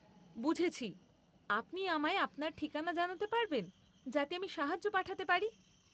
বুঝেছি। আপনি আমায় আপনার ঠিকনা জানাতে পারবেন যাতে আমি সাহায্য পাঠাতে পারি?